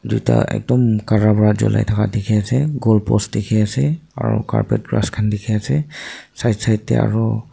tuita ekdum kara vra julai taka tiki ase goal post tiki ase aro carpet grass kan tiki ase side side dae aro.